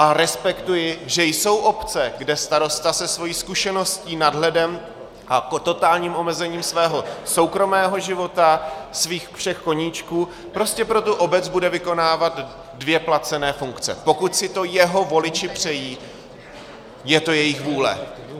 A respektuji, že jsou obce, kde starosta se svou zkušeností, nadhledem a totálním omezením svého soukromého života, svých všech koníčků prostě pro tu obec bude vykonávat dvě placené funkce, pokud si to jeho voliči přejí, je to jejich vůle.